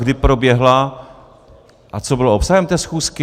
Kdy proběhla a co bylo obsahem té schůzky?